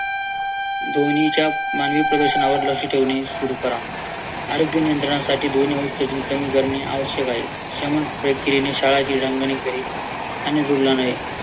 ध्वनी च्या मानवी प्रदूषणावर लक्ष ठेवणे सुरु करा. आरोग्य नियंत्रणासाठी ध्वनी करणे आवश्यक आहे.